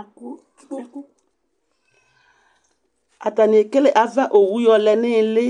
Ɛk kpo atanɩ ekele ava owu yɔlɛ nʋ ɩɩlɩ